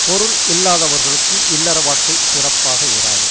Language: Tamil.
பொருள் இல்லாதவர்களுக்கு இல்லற வாழ்க்கை சிறப்பாக இராது